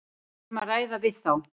Við erum að ræða við þá.